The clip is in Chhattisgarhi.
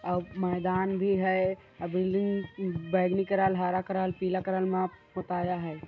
आउ मैदान भी है अ बिल्डिंग बैंगनी करल हरा करल पीला करल म पोताया है।